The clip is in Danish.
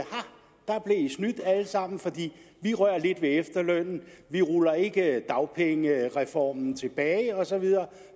snydt alle sammen for vi rører lidt ved efterlønnen og vi ruller ikke dagpengereformen tilbage og så videre